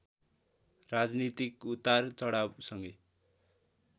राजनीतिक उतार चढावसँगै